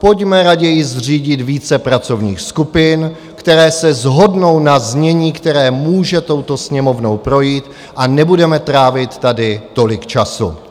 Pojďme raději zřídit více pracovních skupin, které se shodnou na znění, které může touto Sněmovnou projít, a nebudeme trávit tady tolik času.